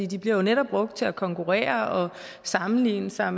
de bliver jo netop brugt til at konkurrere og sammenligne sig